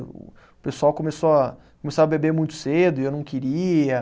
O o pessoal começou a, começou a beber muito cedo e eu não queria.